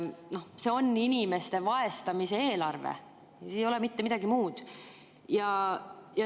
See on inimeste vaesustamise eelarve, see ei ole mitte midagi muud.